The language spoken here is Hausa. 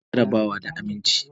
Ina da jaraba da abinci.